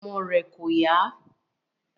Ara ọmọ rẹ̀ kò yá